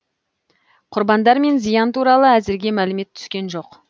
құрбандар мен зиян туралы әзірге мәлімет түскен жоқ